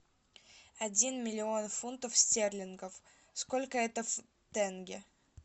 один миллион фунтов стерлингов сколько это в тенге